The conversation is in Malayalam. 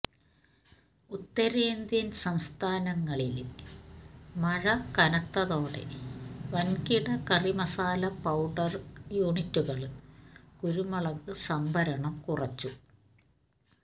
ഉത്തരേന്ത്യന് സംസ്ഥാനങ്ങളില് മഴ കനത്തതോടെ വന്കിട കറിമസാല പൌഡര് യുണിറ്റുകള് കുരുമുളക് സംഭരണം കുറച്ചു